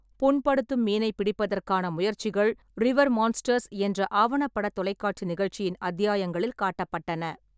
புண்படுத்தும் மீனைப் பிடிப்பதற்கான முயற்சிகள் ரிவர் மான்ஸ்டர்ஸ் என்ற ஆவணப்பட தொலைக்காட்சி நிகழ்ச்சியின் அத்தியாயங்களில் காட்டப்பட்டன.